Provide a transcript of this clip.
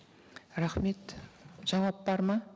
рахмет жауап бар ма